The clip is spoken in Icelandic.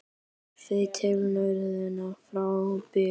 Horft til norðurs frá Búðum.